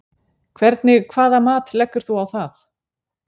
Hvernig hvaða mat leggur þú á það?